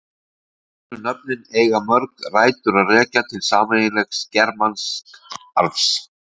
Norrænu nöfnin eiga mörg rætur að rekja til sameiginlegs germansks arfs.